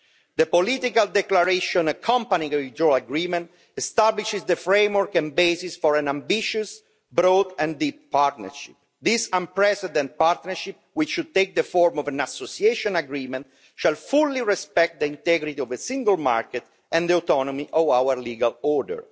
The political declaration accompanying the withdrawal agreement establishes the framework and basis for an ambitious, broad and deep partnership. This unprecedented partnership, which should take the form of an association agreement, shall fully respect the integrity of the single market and the autonomy of our legal order.